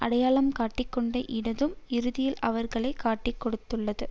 அடையாளம் காட்டிக் கொண்ட இடதும் இறுதியில் அவர்களை காட்டிக் கொடுத்துவிட்டது